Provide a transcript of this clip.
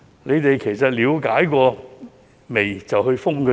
當局有否了解過才決定封閉呢？